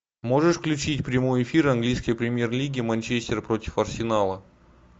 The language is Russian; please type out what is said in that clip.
можешь включить прямой эфир английской премьер лиги манчестер против арсенала